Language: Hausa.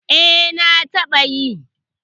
eh na taba yi